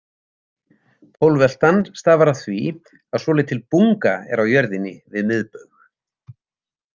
Pólveltan stafar af því að svolítil bunga er á jörðinni við miðbaug.